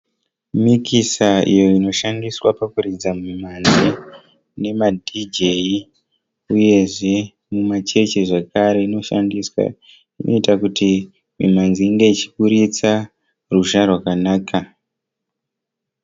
Mikisa iyo inoshandiswa pakuridza mimhanzi nemaDJ uyezve mumachechi zvakare inoshandiswa. Inoita kuti mimhanzi inge ichiburitsa ruzha rwakanaka.